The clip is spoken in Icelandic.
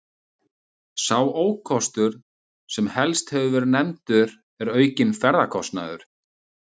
Sá ókostur sem helst hefur verið nefndur er aukinn ferðakostnaður.